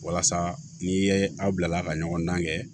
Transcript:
Walasa n'i ye aw bila ka ɲɔgɔn dan kɛ